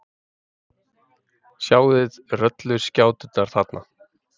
Sjáið rolluskjáturnar þarna.